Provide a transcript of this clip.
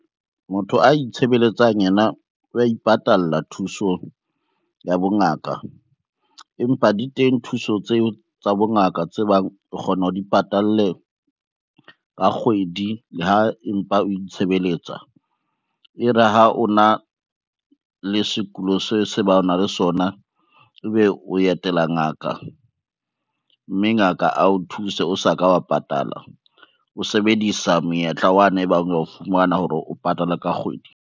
Motho a itshebeletsang yena wa ipatalla thuso ya bongaka. Empa di teng thuso tseo tsa bongaka tse bang o kgona o di patalle ka kgwedi le ho empa o itshebeletsa. E re ha o na le sekulo se se bang na le sona ebe o etela ngaka, mme ngaka a o thuse o sa ka wa patala, o sebedisa monyetla wa ne ebang wa o fumana hore o patale ka kgwedi.